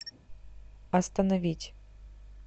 остановить